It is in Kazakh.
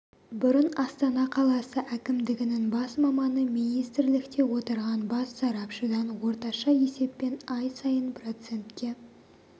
бұрын астана қаласы әкімдігінің бас маманы министрлікте отырған бас сарапшыдан орташа есеппен ай сайын процентке